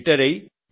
retire అయి